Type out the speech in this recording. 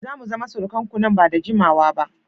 Za mu zama surukanku nan ba da jimawa ba